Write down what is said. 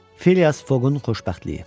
Filias Foqun xoşbəxtliyi.